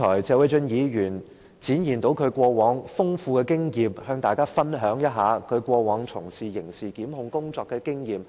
謝偉俊議員剛才與我們分享，並展現了他過往從事刑事檢控工作的豐富經驗。